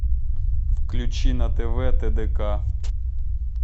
включи на тв тдк